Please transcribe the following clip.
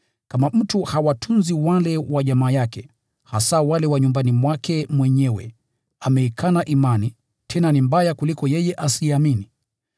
Kama mtu hawatunzi wale wa jamaa yake, hasa wale wa nyumbani mwake mwenyewe, ameikana imani, tena ni mbaya kuliko yeye asiyeamini.